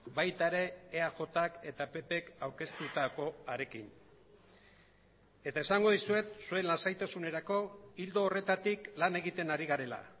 baita ere eajk eta ppk aurkeztutakoarekin eta esango dizuet zuen lasaitasunerako ildo horretatik lan egiten ari garela